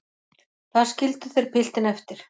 Þar skildu þeir piltinn eftir.